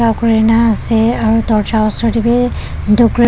ah kori na ase aro dorja osor te bhi decorate .